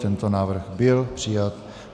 Tento návrh byl přijat.